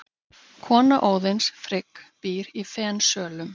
Kona Óðins, Frigg, býr í Fensölum.